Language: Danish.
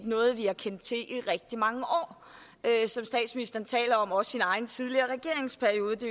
noget vi har kendt til i rigtig mange år som statsministeren siger også i hans egen tidligere regeringsperiode det